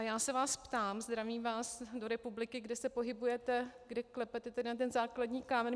A já se vás ptám - zdravím vás do republiky, kde se pohybujete, kdy klepete na ten základní kámen.